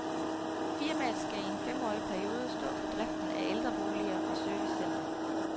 Firmaet skal i en femårig periode stå for driften af ældreboliger og servicecenter.